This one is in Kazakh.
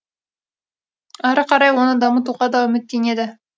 әрі қарай оны дамытуға да үміттенеді